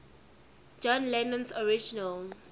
john lennon's original